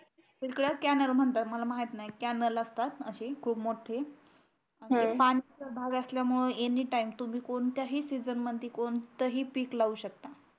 इथल्याला canal म्हणतात मला माहीत नाही कॅनल असतात अशी खूप मोठी पाण्याचा भाग असल्यामुळे एनी टाइम तुम्ही कोणत्याही सीझन मध्ये कोणतही पीक लाऊ शकता